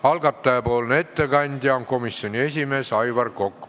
Algataja nimel teeb ettekande komisjoni esimees Aivar Kokk.